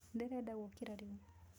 Ndĩrenda gũũkĩra rĩu.